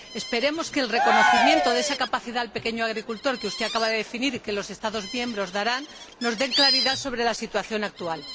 Esperemos que el reconocimiento de esa ayuda al pequeño agricultor, que usted acaba de definir y que los Estados miembros darán, nos dé claridad sobre la situación actual.